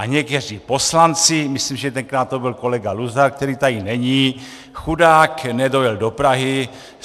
A někteří poslanci - myslím, že tenkrát to byl kolega Luzar, který tady není, chudák nedojel do Prahy.